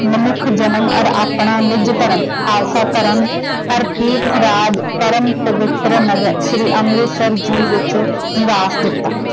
ਮਨੁੱਖ ਜਨਮ ਔਰ ਆਪਣਾ ਨਿੱਜ ਧਰਮ ਖਾਲਸਾ ਧਰਮ ਔਰ ਪਰਮ ਪਵਿੱਤਰ ਸ਼੍ਰੀ ਅਮਿੰਤਸਰ ਜੀ ਵਿੱਚ ਨਿਵਾਸ ਦਿੱਤਾ।